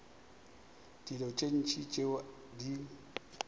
dilo tše ntši tšeo di